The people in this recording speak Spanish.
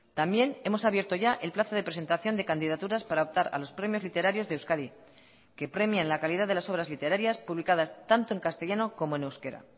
también hemos abierto ya el plazo de presentación de candidaturas para optar a los premios literarios de euskadi que premian la calidad de las obras literarias publicadas tanto en castellano como en euskera